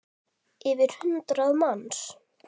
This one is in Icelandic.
Yfir hundrað manns?